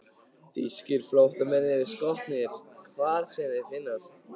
Þýskir flóttamenn eru skotnir, hvar sem þeir finnast.